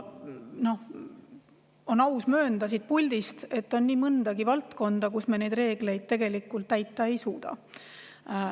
On aus möönda siit puldist, et on nii mõnigi valdkond, kus neid reegleid tegelikult täita ei suudeta.